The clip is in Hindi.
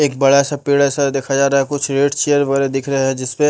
एक बड़ा सा पीड़ा सा देखा जा रहा है कुछ रेड चेयर वगैरह दिख रहा है जिसमें --